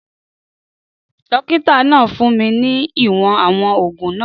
Dókítà náà fún mi ní ìwọ̀n àwọn oògùn náà